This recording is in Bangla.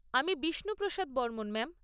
আমি বিষ্ণু প্রসাদ বর্মণ, ম্যাম।